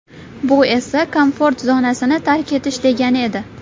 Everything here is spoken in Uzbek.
Bu esa komfort zonasini tark etish degani edi.